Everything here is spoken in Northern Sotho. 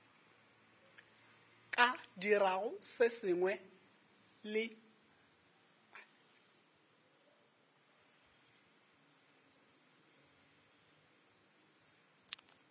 ka dirago se sengwe le